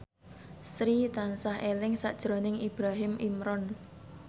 Sri tansah eling sakjroning Ibrahim Imran